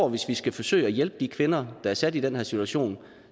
at hvis vi skal forsøge at hjælpe de kvinder der er sat i den her situation